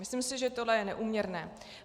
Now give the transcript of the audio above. Myslím si, že toto je neúměrné.